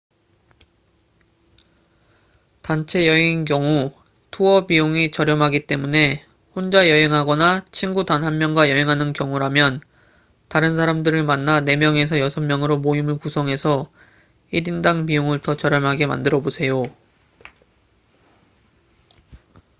단체 여행인 경우 투어 비용이 저렴하기 때문에 혼자 여행하거나 친구 단 한 명과 여행하는 경우라면 다른 사람들을 만나 4명에서 6명으로 모임을 구성해서 1인당 비용을 더 저렴하게 만들어 보세요